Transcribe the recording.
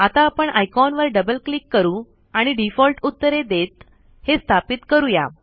आता आपण आयकॉन वर डबल क्लिक करू आणि डीफ़ॉल्ट उत्तरे देत हे स्थापित करूया